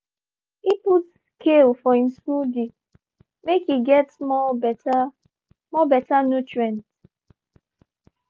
e put kale for him smoothie make e get more better more better nutrient.